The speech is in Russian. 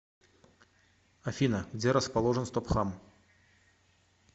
афина где расположен стопхам